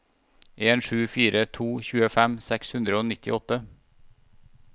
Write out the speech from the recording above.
en sju fire to tjuefem seks hundre og nittiåtte